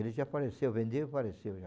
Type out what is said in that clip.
Ele já faleceu, vendeu e faleceu já.